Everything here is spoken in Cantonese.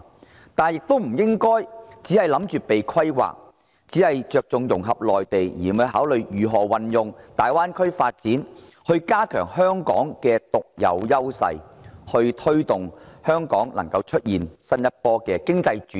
然而，香港亦不應只想着被規劃，只着重與內地融合，而不考慮如何利用大灣區發展來加強香港的獨有優勢，推動香港出現新一波經濟轉型。